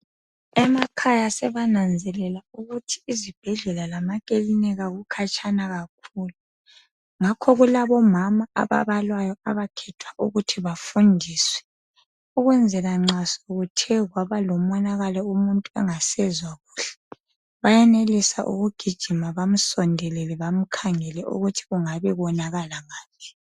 emakhaya sebananzelela ukuthi ezibhedlela lase maklinika kutshana kakhulu ngakho kulabo mama aba balwayo abahethwa ukuba bafundiswe ukwenzela nxa sokuthe kwaba lomonakalo umuntu engasezwa kuhle bayayenelisa ukugijima bemsondelele bamkhangele ukuthi kungabe elimale ngaphi